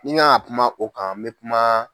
Ni n kan ka kuma o kan n bɛ kuma